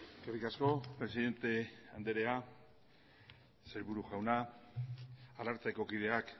eskerrik asko presidente andrea sailburu jauna arartekokideak